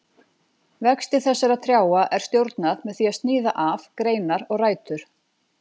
Vexti þessara trjáa er stjórnað með því að sníða af greinar og rætur.